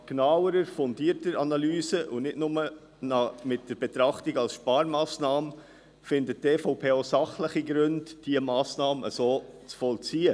Nach genauerer, fundierterer Analyse und nicht nur mit der Betrachtung als Sparmassnahme findet die EVP auch sachliche Gründe, diese Massnahme so zu vollziehen.